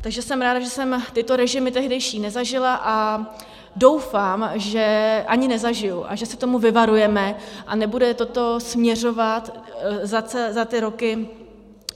Takže jsem ráda, že jsem tyto režimy tehdejší nezažila, a doufám, že ani nezažiji a že se toho vyvarujeme a nebude toto směřovat za ty roky